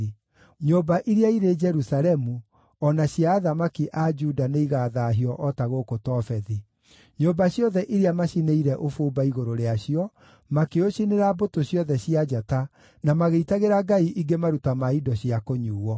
Nyũmba iria irĩ Jerusalemu, o na cia athamaki a Juda nĩigathaahio o ta gũkũ Tofethi: nyũmba ciothe iria maacinĩire ũbumba igũrũ rĩacio, makĩũcinĩra mbũtũ ciothe cia njata, na magĩitagĩra ngai ingĩ maruta ma indo cia kũnyuuo.’ ”